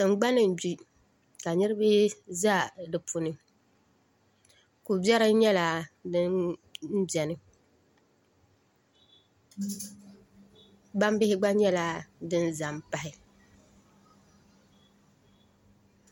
Tingbani n gbi ka niraba ʒɛ di puuni ko biɛri nyɛla din biɛni gbambihi gba nyɛla din za n pahi